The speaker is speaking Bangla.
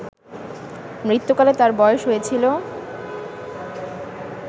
মৃত্যুকালে তাঁর বয়স হয়েছিল